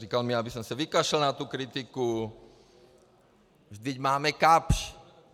Říkal mi, abych se vykašlal na tu kritiku, vždyť máme Kapsch.